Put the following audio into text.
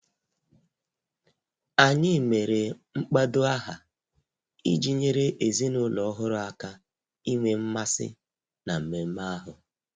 Anyị mere mkpado aha iji nyere ezinụlọ ọhụrụ aka inwe mmasị na mmemme ahụ